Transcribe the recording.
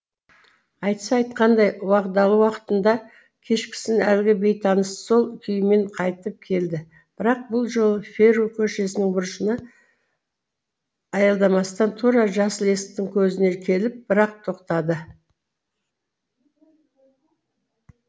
айтса айтқандай уағдалы уақытында кешкісін әлгі бейтаныс сол күймемен қайтып келді бірақ бұл жолы феру көшесінің бұрышына аялдамастан тура жасыл есіктің көзіне келіп бір ақ тоқтады